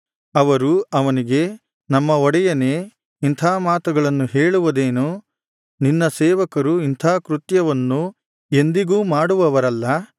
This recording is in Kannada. ಅವರು ಅವನಿಗೆ ನಮ್ಮ ಒಡೆಯನೇ ಇಂಥಾ ಮಾತುಗಳನ್ನು ಹೇಳುವುದೇನು ನಿನ್ನ ಸೇವಕರು ಇಂಥಾ ಕೃತ್ಯವನ್ನು ಎಂದಿಗೂ ಮಾಡುವವರಲ್ಲ